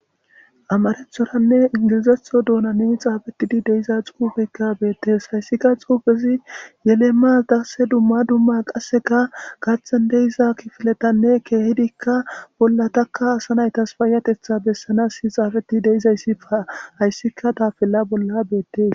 amarethoranne ingilizetho doonani xaafetidi deiza xuufekka beettes hayssika xuufezi yelemmas darse dumma dumma qasseka gaththen deiza kifiletanne keehidikka bolla takka asa naytas paayatetha bessanas si xaafeti deizayssi hayssika tafella bolla beettees